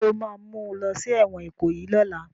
Ṣé o ma mú lọ sí ẹ̀wọ̀n Ìkòyí lọ́la?